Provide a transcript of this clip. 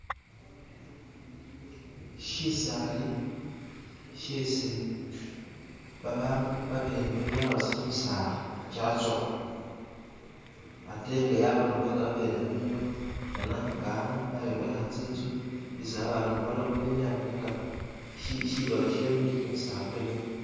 Shisali shesi ba'bandu babene babyala busa kimisala kyatsowa ate nga nabo abene bamenya wo, bona nga ano bayombekha tsi'nzu isi abandu bano bamenya nenga shibala shabwe nisho kimisala kyo'ngene.